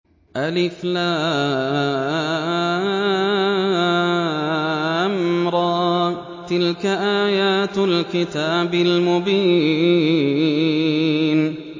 الر ۚ تِلْكَ آيَاتُ الْكِتَابِ الْمُبِينِ